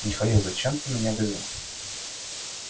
михаил зачем ты меня вызвал